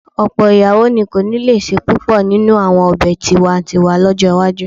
Ọ̀pọ̀ ìyàwó ni kò ní lè se púpọ̀ nínú àwọn ọ̀bẹ tiwa-n-tiwa lọ́jọ́ iwájú